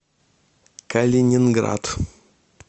калининград